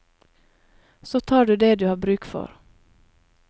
Så tar du det du har bruk for.